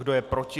Kdo je proti?